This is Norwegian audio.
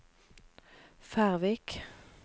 Færvik